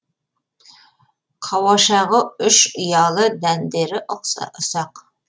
қауашағы үш ұялы дәндері ұсақ